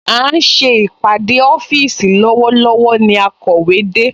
À ń ṣe ìpàdé ọ́fíìsì lọ́wọ́lọ́wọ́ ni akọ̀wé de